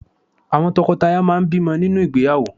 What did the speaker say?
Àwọn tọkọtaya máà ń bímọ nínú ìgbéyàwó.